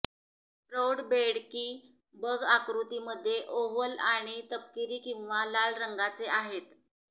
प्रौढ बेड की बग आकृति मध्ये ओव्हल आणि तपकिरी किंवा लाल रंगाचे आहेत